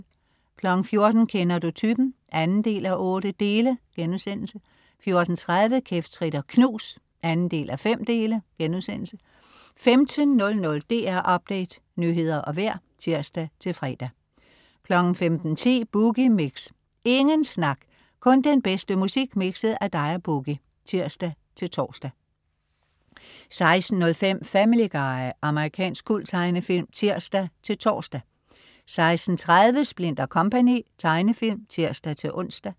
14.00 Kender du typen? 2:8* 14.30 Kæft, trit og knus 2:5* 15.00 DR Update Nyheder og vejr (tirs-fre) 15.10 Boogie Mix. Ingen snak, kun den bedste musik mikset af dig og "Boogie" (tirs-tors) 16.05 Family Guy. Amerikansk kulttegnefilm (tirs-tors) 16.30 Splint & Co. Tegnefilm (tirs-ons)